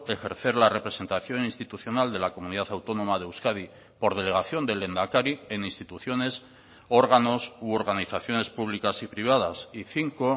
ejercer la representación institucional de la comunidad autónoma de euskadi por delegación del lehendakari en instituciones órganos u organizaciones públicas y privadas y cinco